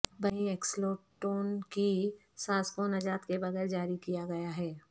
برنی Ecclestone کی ساس کو نجات کے بغیر جاری کیا گیا ہے